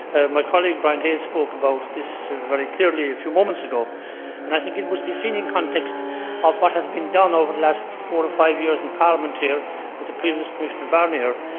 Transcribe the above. My colleague Brian Hayes spoke about this very clearly a few moments ago and I think it must be seen in the context of what has been done over the last four or five years in Parliament here with the previous Commissioner Barnier.